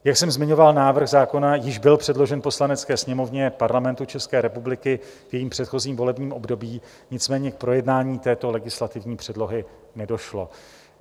Jak jsem zmiňoval, návrh zákona již byl předložen Poslanecké sněmovně Parlamentu České republiky v jejím předchozím volebním období, nicméně k projednání této legislativní předlohy nedošlo.